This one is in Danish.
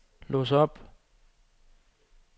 lås op